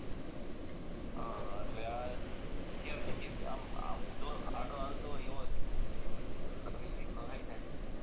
અ એટલે આ ગેરનીતી થી આમ ઉંધો આડો હાલતો હોય એવો શિક્ષક હતો એનો મતલબ એ રીત નો થાય ને